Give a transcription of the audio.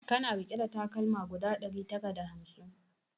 Kana rike da takalma guda ɗari tara da hamsin?